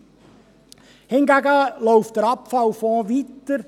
Der Abfallfonds läuft hingegen weiter.